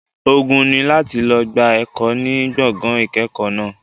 Ogun ni láti lọ gba ẹ̀kọ́ ní gbọ̀ngàn ìkẹ́kọ̀ọ́ náà.